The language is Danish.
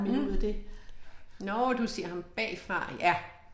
Mh. Nåh du ser ham bagfra